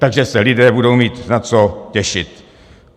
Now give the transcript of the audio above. Takže se lidé budou mít na co těšit.